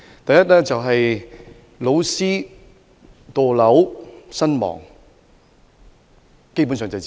第一，老師墮樓身亡，基本上就是自殺。